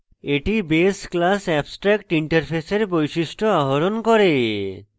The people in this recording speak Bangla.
এটি base class abstractinterface এর বৈশিষ্ট্য আহরণ করে